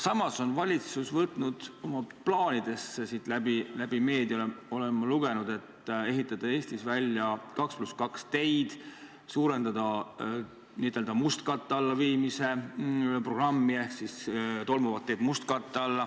Samas on valitsus võtnud oma plaanidesse – olen meediast lugenud – ehitada Eestis välja 2 + 2 teid, suurendada n-ö mustkatte alla viimise programmi, st katta tolmavad teed mustkattega.